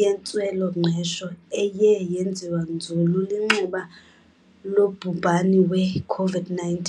yentswela-ngqesho eye yenziwa nzulu linxeba lobhubhani we-COVID-19.